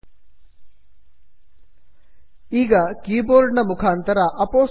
ಈಗ ಕೀಬೋರ್ಡ್ ನ ಮುಖಾಂತರ ಅಪೊಸ್ಟ್ರೋಫ್ ಅಪೋಸ್ಟ್ರೊಪಿ ಕೀಯನ್ನು ಒತ್ತಿರಿ